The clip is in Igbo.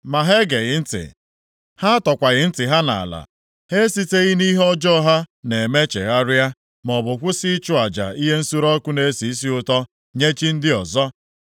Ma ha egeghị ntị, ha atọkwaghị ntị ha nʼala. Ha esiteghị nʼihe ọjọọ ha na-eme chegharịa, maọbụ kwụsị ịchụ aja ihe nsure ọkụ na-esi isi ụtọ nye chi ndị ọzọ.